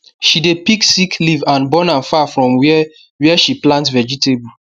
she dey pick sick leaf and burn am far from where where she plant vegetable